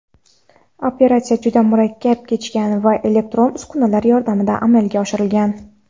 Operatsiya juda murakkab kechgan va elektron uskunalar yordamida amalga oshirilgan.